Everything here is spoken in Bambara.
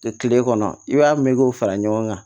Kile kɔnɔ i b'a mɛn k'o fara ɲɔgɔn kan